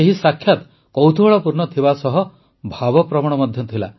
ଏହି ସାକ୍ଷାତ କୌତୁହଳପୂର୍ଣ୍ଣ ଥିବାସହ ଭାବପ୍ରବଣ ମଧ୍ୟ ଥିଲା